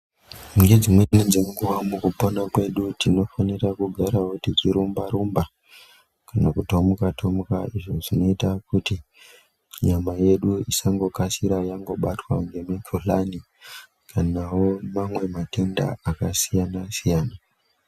Dzimweni dzekunguwa mukupona kwedu tinofanirawo kugara tichirumba rumba nekutomuka tomuka zvinoita kuti nyama yedu isangokasira kubatwa ngemukuhlani nemamwe matenda akasiyana -siyana.